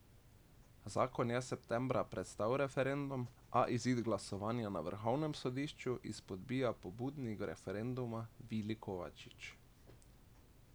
Zakon je septembra prestal referendum, a izid glasovanja na vrhovnem sodišču izpodbija pobudnik referenduma Vili Kovačič.